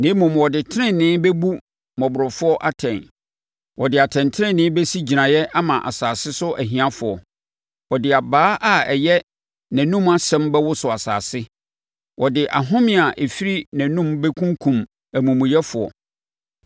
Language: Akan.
na mmom ɔde tenenee bɛbu mmɔborɔfoɔ atɛn, ɔde atɛntenenee bɛsi gyinaeɛ ama asase so ahiafoɔ. Ɔde abaa a ɛyɛ nʼanom asɛm bɛwoso asase; ɔde ahome a ɛfiri nʼanom bɛkunkum amumuyɛfoɔ.